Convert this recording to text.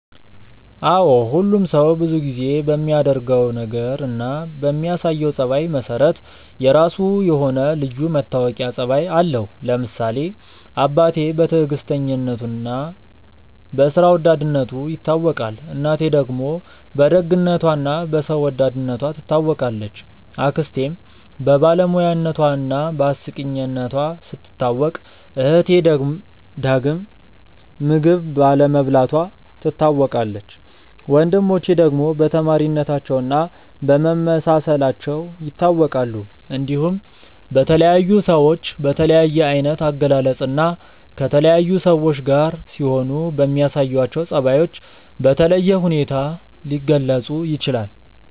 አዎ ሁሉም ሰው ብዙ ጊዜ በሚያደርገው ነገር እና በሚያሳየው ጸባይ መሰረት የራሱ የሆነ ልዩ መታወቂያ ጸባይ አለው። ለምሳሌ አባቴ በትዕግስተኝነቱ እና በስራ ወዳድነቱ ይታወቃል፣ እናቴ ደግሞ በደግነቷ እና በሰው ወዳድነቷ ትታወቃለች፣ አክስቴም በባለሙያነቷ እና በአስቂኝነቷ ስትታወቅ እህቴ ዳግም ምግብ ባለመብላቷ ትታወቃለች፣ ወንድሞቼ ደግሞ በተማሪነታቸው እና በመመሳሰላቸው ይታወቃሉ። እንዲሁም በተለያዩ ሰዎች በተለያየ አይነት አገላለጽ እና ከተለያዩ ሰዎች ጋር ሲሆኑ በሚያሳዩአቸው ጸባዮች በተለየ ሁኔታ ሊገለጹ ይችላል።